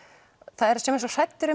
það eru sumir svo hræddir